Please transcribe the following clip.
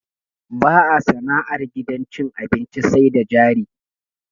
Ba a sana'ar gidan cin abinci sai da jari.